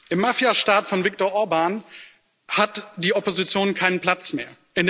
Im Mafia Staat von Viktor Orbán hat die Opposition keinen Platz mehr.